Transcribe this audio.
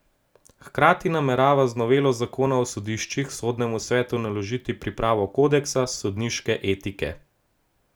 Hkrati namerava z novelo zakona o sodiščih Sodnemu svetu naložiti pripravo kodeksa sodniške etike.